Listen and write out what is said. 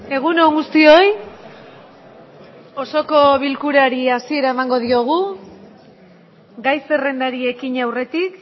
egun on guztioi osoko bilkurari hasiera emango diogu gai zerrendari ekin aurretik